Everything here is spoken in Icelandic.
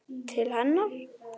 Til hennar.